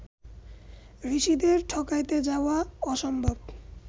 ঋষিদের ঠকাইতে যাওয়া অসম্ভব